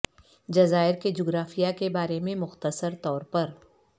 جزائر کے جغرافیہ کے بارے میں مختصر طور پر